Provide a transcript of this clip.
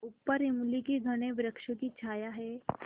ऊपर इमली के घने वृक्षों की छाया है